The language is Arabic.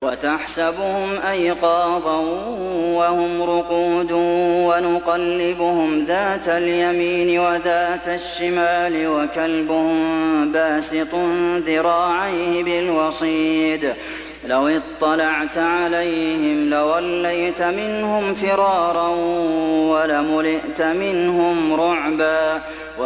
وَتَحْسَبُهُمْ أَيْقَاظًا وَهُمْ رُقُودٌ ۚ وَنُقَلِّبُهُمْ ذَاتَ الْيَمِينِ وَذَاتَ الشِّمَالِ ۖ وَكَلْبُهُم بَاسِطٌ ذِرَاعَيْهِ بِالْوَصِيدِ ۚ لَوِ اطَّلَعْتَ عَلَيْهِمْ لَوَلَّيْتَ مِنْهُمْ فِرَارًا وَلَمُلِئْتَ مِنْهُمْ رُعْبًا